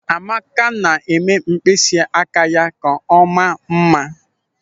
Amaka na-eme mkpịsị aka ya ka ọ maa mma.